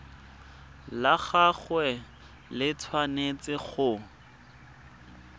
la gagwe le tshwanetse go